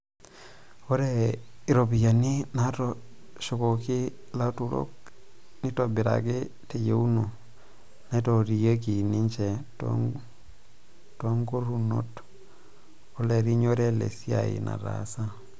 "Ore iropiyiani naaitoshoki ilautarok neitobiraki teyieuna naituriaki ninje toonkurunoto olerinyore le siai nataasa.